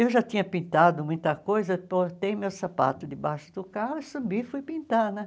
Eu já tinha pintado muita coisa, botei meu sapato debaixo do carro, subi e fui pintar, né?